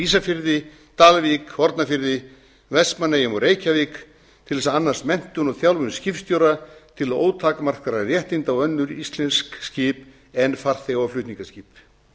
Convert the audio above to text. ísafirði dalvík hornafirði vestmannaeyjum og reykjavík til þess að annast menntun og þjálfun skipstjóra til ótakmarkaðra réttinda á önnur íslensk skip en farþega og flutningaskip